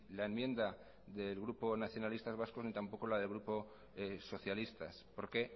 la enmienda del grupo nacionalistas vascos ni tampoco la del grupo socialistas porque